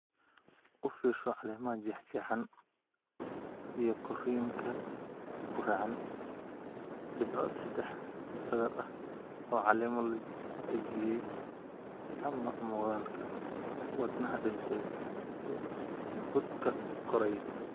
U fiirso caleemaha jeexjeexan & korriinka guracan, dhibco saddex sadar ah oo caleemo la dajiyay ama muuqaalka "wadnaha dhintay" ee budka koraya.